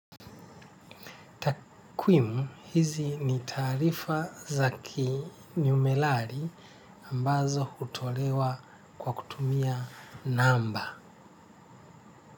Takwimu. Hizi ni taarifa za kiniumerali ambazo hutolewa kwa kutumia namba.